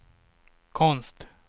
konst